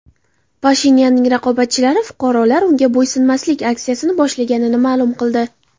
Pashinyanning raqobatchilari fuqarolar unga bo‘ysunmaslik aksiyasini boshlaganini ma’lum qildi.